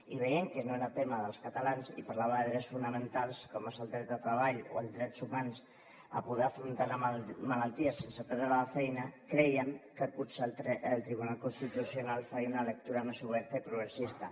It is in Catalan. i veient que no era tema dels catalans i parlava de drets fonamentals com és el dret de treball o el dret humà de poder afrontar malalties sense perdre la feina crèiem que potser el tribunal constitucional faria una lectura més oberta i progressista